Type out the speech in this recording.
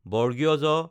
জ